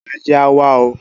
Ajé á wa o